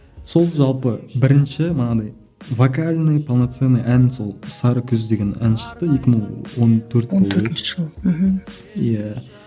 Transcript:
сол жалпы бірінші манағындай вокальный полноценный ән сол сары күз деген ән шықты екі мың он төрт болу керек он төртінші жылы мхм иә